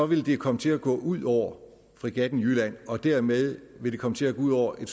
vil det komme til at gå ud over fregatten jylland og dermed vil det komme til at gå ud over en